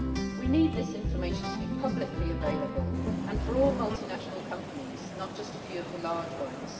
We need this information to be publicly available and for all multinational companies, not just a few of the large ones.